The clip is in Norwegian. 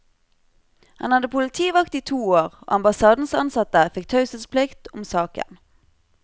Han hadde politivakt i to år, og ambassadens ansatte fikk taushetsplikt om saken.